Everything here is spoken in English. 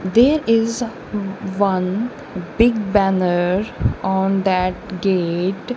there is w-one big banner on that gate.